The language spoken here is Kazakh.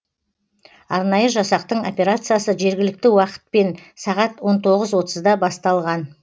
арнайы жасақтың операциясы жергілікті уақытпен сағат он тоғыз отызда басталған